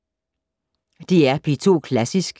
DR P2 Klassisk